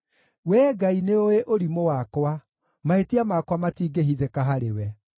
Wee Ngai nĩũũĩ ũrimũ wakwa; mahĩtia makwa matingĩhithĩka harĩwe.